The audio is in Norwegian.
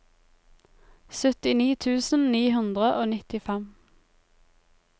syttini tusen ni hundre og nittifem